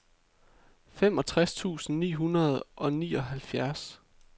femogtres tusind ni hundrede og nioghalvfjerds